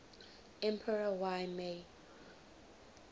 emperor y mei